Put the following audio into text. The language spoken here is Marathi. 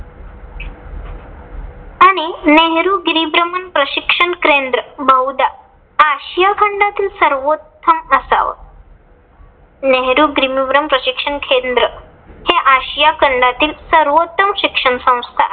आणि नेहरू गिरीभ्रमण प्रशिक्षण केंद्र बहुदा आशिया खंडातील सर्वोत्तम असाव. नेहरू गिरीभ्रमण प्रशिक्षण केंद्र हे आशिया खंडातील सर्वोत्तम शिक्षण संस्था